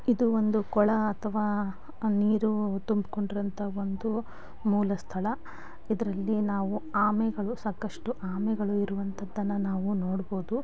ಇದು ಒಂದು ಕೊಳ ಅಥವಾ ನೀರು ತುಂಬಿಕೊಂಡಿರುವ ಅಂತ ಒಂದು ಮೂಲ ಸ್ಥಳ ಇದರಲ್ಲಿ ನಾವು ಆಮೆಗಳು ಸಾಕಷ್ಟು ಆಮೆಗಳು ಇರುವಂತದನ್ನ ನಾವು ನೋಡ್ಬೋದು.